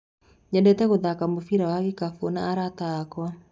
Nyendete gũthaka mũbira wa gĩkabu na arata akwa.